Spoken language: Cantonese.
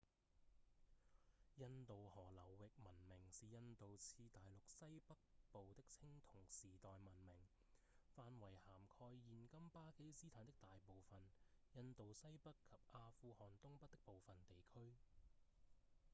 印度河流域文明是印度次大陸西北部的青銅時代文明範圍涵蓋現今巴基斯坦的大部分、印度西北及阿富汗東北的部分地區